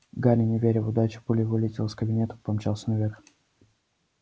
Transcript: гарри не веря в удачу пулей вылетел из кабинета помчался наверх